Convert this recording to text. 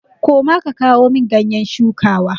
Koma ka kawo min ganyen shuwaka!